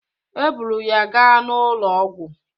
E buru ya ga n'ụlọ ọgwụ